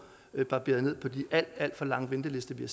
barberet ned på de alt alt for lange ventelister vi